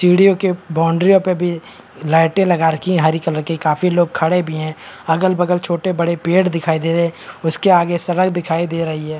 सीढ़ियों के बाउंड्रीओं पे भी लाइटें लगा रखी हैं हरी कलर की काफी लोग खड़े भी हैं अगल-बगल छोटे-बड़े पेड़ दिखाई दे रहे हैं उसके आगे सड़क दिखाई दे रही है।